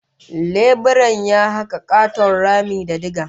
Leburan ya haka katon rami da diga